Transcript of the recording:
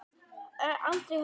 Aldrei höfðu